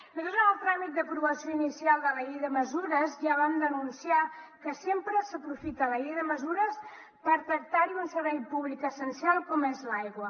nosaltres en el tràmit d’aprovació inicial de la llei de mesures ja vam denunciar que sempre s’aprofita la llei de mesures per tractar hi un servei públic essencial com és l’aigua